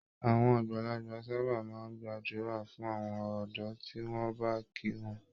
Àwọn àgbàlagbà sábà máa ń gbàdúrà fún àwọn ọ̀dọ́ tí wọ́n bá kí wọn.